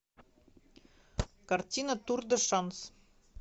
картина тур де шанс